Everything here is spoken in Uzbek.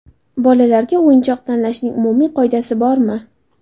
Bolalarga o‘yinchoq tanlashning umumiy qoidasi bormi?